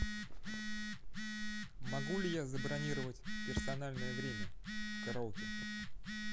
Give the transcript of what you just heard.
могу ли я забронировать персональное время в караоке